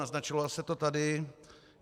Naznačovalo se to tady.